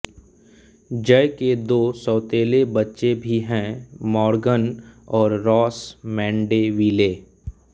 जय के दो सौतेले बच्चे भी हैं मॉर्गन और रॉस मैंडेविले